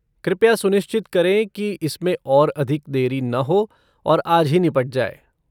कृपया सुनिश्चित करें कि इसमें और अधिक देरी न हो और आज ही निपट जाए।